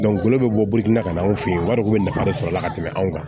bɛ bɔ na ka na anw fɛ yen wariko bɛ nafa de sɔrɔ a la ka tɛmɛ anw kan